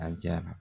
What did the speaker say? A diyara